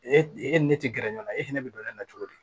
E e e ne ne ti gɛrɛ ɲɔgɔn na e fɛnɛ be don ne na cogo di